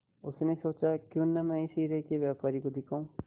उसने सोचा क्यों न मैं इसे हीरे के व्यापारी को दिखाऊं